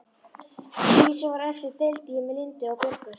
Því sem var eftir deildi ég með Lindu og Björgu.